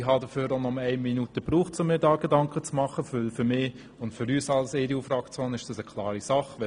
Ich brauchte nur eine Minute, um mir dazu Gedanken zu machen, denn für mich und für die EDU-Fraktion ist das eine klare Sache.